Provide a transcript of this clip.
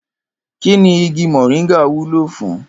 Kíni igi mò̩ríńgà wúlò fún?